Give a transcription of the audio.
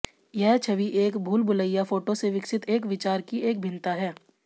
यह छवि एक भूलभुलैया फोटो से विकसित एक विचार की एक भिन्नता है